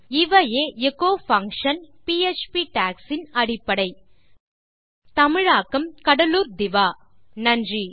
இவையே echo function PHP docs இன் அடிப்படை கண்டமைக்கு நன்றி தமிழாக்கம் கடலூர் திவா நன்றி